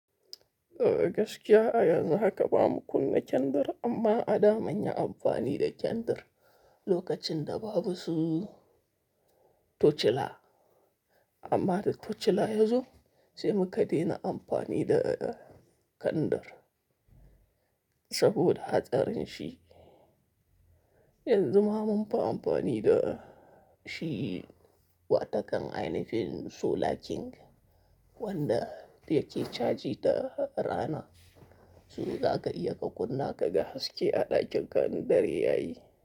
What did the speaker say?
Gaskiya ayanzu haka ba mu kunna kendir amma a da manya amfani da kendir lokacin da babu su tocila. Amma da tocila yazo sai muka dena amfani da kandir saboda hatsarin shi. Yanzu ma munfi amfani da shi, wata kan ainifin sola king wanda yake caji ta rana. Zaka iya ka kunna ka ga haske a ɗakin ka in dare yayi.